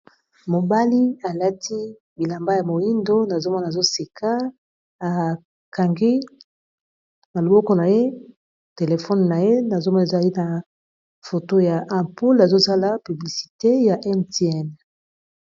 Mobali alati bilamba ya moyindo nazomona azo seka akangi na loboko na ye telefone na ye nazomona zali na foto ya aqqaqmpule azozala piblicite ya Mtn.